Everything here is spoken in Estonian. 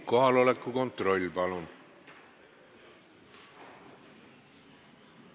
Kohaloleku kontroll, palun!